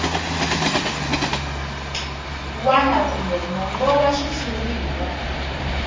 wana kambe mongo wa xitshuriwa